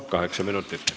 Kaheksa minutit.